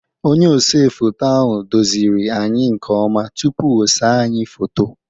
Onye ose foto ahụ doziri anyị nkeọma tupuu osee anyị foto.